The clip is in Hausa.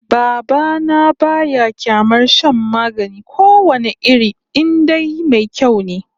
Baba na ba ya kyamar shan magani ko wane iri in dai mai kyau ne